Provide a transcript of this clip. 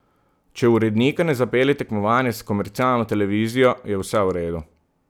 Če urednika ne zapelje tekmovanje s komercialno televizijo, je vse v redu.